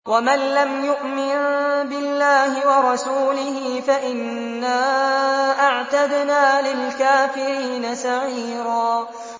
وَمَن لَّمْ يُؤْمِن بِاللَّهِ وَرَسُولِهِ فَإِنَّا أَعْتَدْنَا لِلْكَافِرِينَ سَعِيرًا